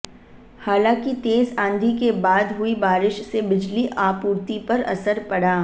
हालांकि तेज आंधी के बाद हुई बारिश से बिजली आपूर्ति पर असर पड़ा